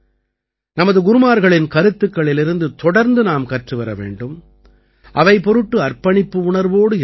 நமது குருமார்களின் கருத்துக்களிலிருந்து தொடர்ந்து நாம் கற்றுவர வேண்டும் அவை பொருட்டு அர்ப்பணிப்பு உணர்வோடு இருக்க வேண்டும்